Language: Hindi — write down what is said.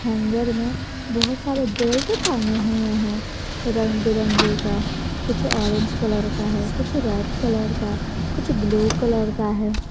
हैगर में बहुत सारे बेल्ट टांगे हुए हैं रंग बिरंगे का कुछ ऑरेंज कलर का है कुछ रेड कलर का कुछ ब्लू कलर का है।